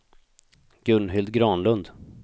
Gunhild Granlund